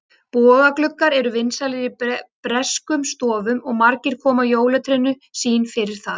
Bogagluggar eru vinsælir í breskum stofum og margir koma jólatrénu sínu fyrir þar.